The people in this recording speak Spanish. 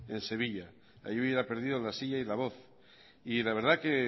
en sevilla allí hubiera perdido la silla y la voz y la verdad es que